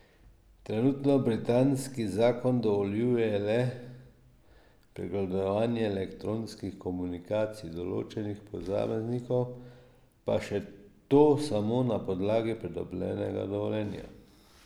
Trenutno britanski zakon dovoljuje le pregledovanje elektronskih komunikacij določenih posameznikov, pa še to samo na podlagi pridobljenega dovoljenja.